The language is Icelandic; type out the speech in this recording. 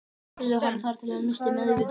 Þeir börðu hann þar til hann missti meðvitund.